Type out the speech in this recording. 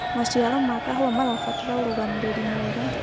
maciaro ma kahũa marabatara urugamiriri mwega